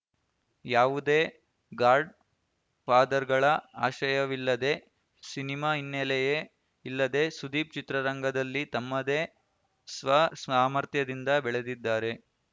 ಯಾವುದೇ ಗಾಡ್‌ ಫಾದರ್‌ಗಳ ಆಶ್ರಯವಿಲ್ಲದೆ ಸಿನಿಮಾ ಹಿನ್ನೆಲೆಯೇ ಇಲ್ಲದೆ ಸುದೀಪ್‌ ಚಿತ್ರರಂಗದಲ್ಲಿ ತಮ್ಮದೇ ಸ್ವ ಸಾಮರ್ಥ್ಯದಿಂದ ಬೆಳೆದಿದ್ದಾರೆ